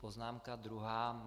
Poznámka druhá.